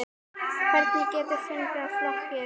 Hvernig geta fuglar flogið?